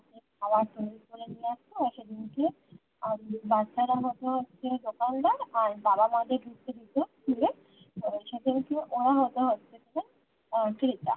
খাবার তৈরী করে নিয়ে আসত র সেদিন কে বাচ্চারা হত হচ্ছে দোকানদার র বাবা মা দের ঢুকতে দিতো school সেদিন কে ওরা হত হচ্ছে কিনা ক্রেতা